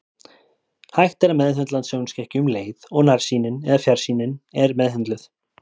Hægt er að meðhöndla sjónskekkju um leið og nærsýnin eða fjarsýnin er meðhöndluð.